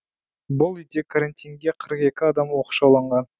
бұл үйде карантинге қырық екі адам оқшауланған